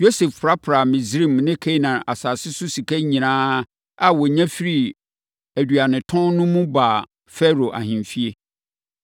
Yosef prapraa Misraim ne Kanaan asase so sika nyinaa a ɔnya firii aduanetɔn no mu no baa Farao ahemfie.